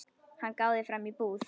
Hann gáði fram í búð.